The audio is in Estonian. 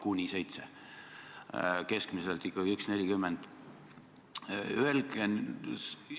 Kuni 7 eurot, keskmiselt tõuseb pension ikkagi 1,40.